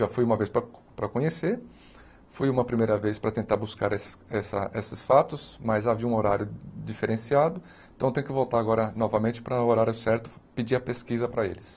Já fui uma vez para para conhecer, fui uma primeira vez para tentar buscar esses essa esses fatos, mas havia um horário diferenciado, então eu tenho que voltar agora, novamente, para o horário certo, pedir a pesquisa para eles.